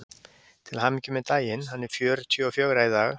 Til hamingju með daginn: hann er fjörutíu og fjögra í dag.